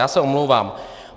Já se omlouvám.